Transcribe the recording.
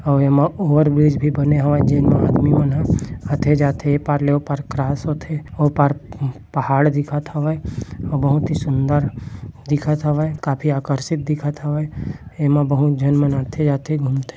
आऊ एमा ओवरब्रिज भी बने हावय जेमा अदमी मन ह आते-जाते ये पार ले ओ पार क्रॉस होथे ओ पार पहाड़ दिखत हावय बहुत ही सुंदर दिखत हावय काफी आकर्षित दिखत हावय एमा बहुत जन मन आते-जाते घुमथे --